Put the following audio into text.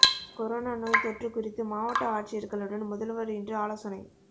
corona நோய்த் தொற்று குறித்து மாவட்ட ஆட்சியா்களுடன் முதல்வா் இன்று ஆலோசனை